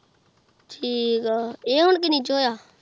ਠੀਕ ਆਹ